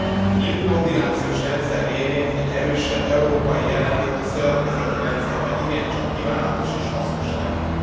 A nyílt koordinációs rendszer révén egy erősebb európai jelenlét a szövetkezeti rendszerben igencsak kívánatos és hasznos lenne.